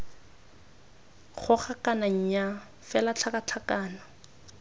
goga kana nnyaa fela tlhakatlhakano